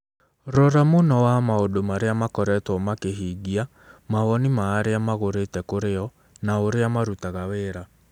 Rora mũno wa maũndũ marĩa makoretwo makĩhingia, mawoni ma arĩa magũrĩte kũrĩ o, na ũrĩa marutaga wĩra